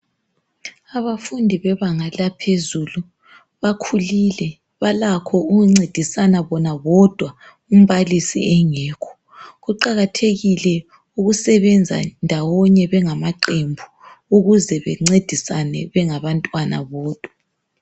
Abafundi bebanga laphezulu bakhulile ,balakho ukuncedisana bona bodwa umbalisi engekho Kuqakathekile ukusebenza ndawonye bengamaqembu ukuze bencedisana bengabantwana bodwa.